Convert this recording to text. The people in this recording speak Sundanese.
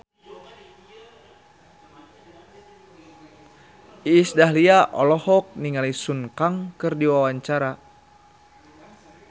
Iis Dahlia olohok ningali Sun Kang keur diwawancara